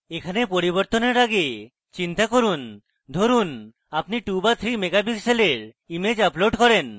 এখানে পরিবর্তনের আগে চিন্তা করুন ধরুনআপনি 2 বা 3 megapixel ইমেজ upload করেন